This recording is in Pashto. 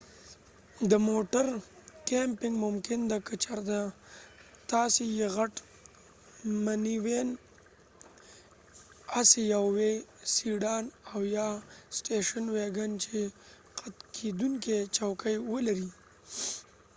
د موټر کېمپنګ ممکن ده که چېرته تاسی یو غټ منیوېن، اسی یو وي، سیډان او یا سټیشن ويګن چې قت کېدونکې چوکۍ ولري